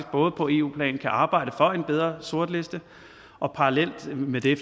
både på eu plan kan arbejde for en bedre sortliste og parallelt med det